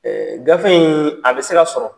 Ɛɛ gafe in a bɛ se ka sɔrɔ